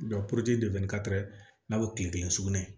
n'a bɛ kile kelen sugunɛ